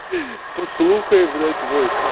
послухай блять войсик